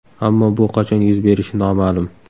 Ammo bu qachon yuz berishi noma’lum.